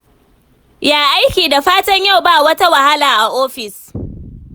Ya aiki? Da fatan yau ba wata wahala a ofis?